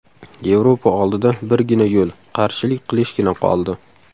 Yevropa oldida birgina yo‘l – qarshilik qilishgina qoldi.